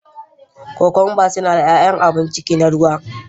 Cucumbers suna da yawan abun ciki na ruwa.